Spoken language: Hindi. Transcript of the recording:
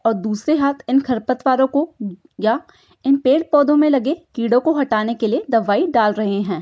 और दूसरे हाथ इन खरपतवारों को या इन पेड़ पौधों में लगे कीड़ों को हटाने के लिए दवाई डाल रहे हैं।